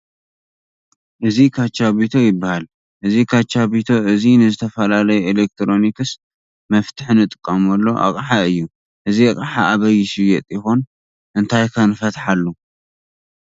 እዚ ካቻቤቶ ይባሃል። እዚ ካቻቤቶ እዚ ንዝተፈላለዩ ኣሌክትሮኒክስ መፍትሒ ንጥቀመሉ ኣውሓ እዩ ። እዚ ኣቅሓ ኣበይ ይሽየጥ ይኮን? እንታይ ከ ንፈትሓሉ?